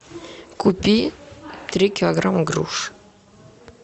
купи три килограмма груш